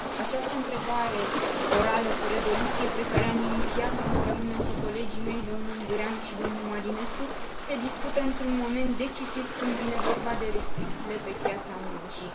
Această întrebare orală cu rezoluție, pe care am inițiat o împreună cu colegii mei domnul Ungureanu și domnul Marinescu se discută într un moment decisiv, când vine vorba de restricțiile pe piața muncii.